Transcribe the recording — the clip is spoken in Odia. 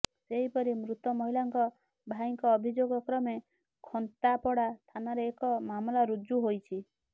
ସେହିପରି ମୃତ ମହିଳାଙ୍କ ଭାଇଙ୍କ ଅଭିଯୋଗ କ୍ରମେ ଖନ୍ତାପଡ଼ା ଥାନାରେ ଏକ ମାମଲା ରୁଜୁ ହୋଇଛି